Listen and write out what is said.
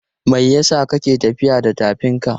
Me yasa ka ke tafiya da tafinka?